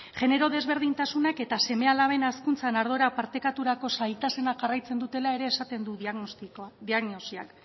genero desberdintasunak eta seme alaben hazkuntzan ardura partekaturako zailtasunak jarraitzen dutela ere esaten du diagnosiak